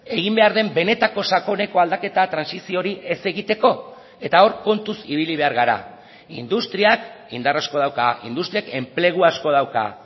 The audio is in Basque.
egin behar den benetako sakoneko aldaketa trantsizio hori ez egiteko eta hor kontuz ibili behar gara industriak indar asko dauka industriak enplegu asko dauka